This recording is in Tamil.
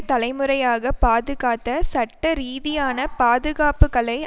தலைமுறையாக பாதுகாத்த சட்டரீதியான பாதுகாப்புக்களை